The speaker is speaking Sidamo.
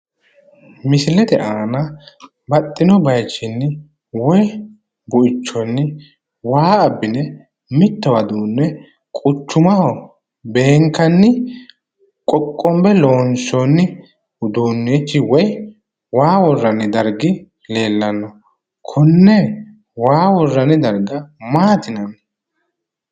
Misilete aana baxxino baayichinni woyi buichonni waa abbine mittowa duunne quchumaho beenikkani qoqqonibe loonsooni uduunichi woyi waa worrani darigi leelanno konne waa worranni dariga maati yinanni?